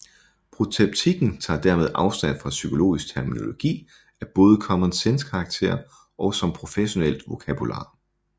Protreptikken tager dermed afstand fra psykologisk terminologi af både common sense karakter og som professionelt vokabular